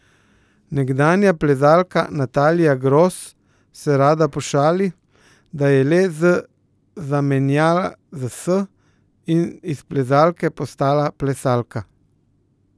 Nekdanja plezalka Natalija Gros se rada pošali, da je le Z zamenjala za S in iz plezalke postala plesalka.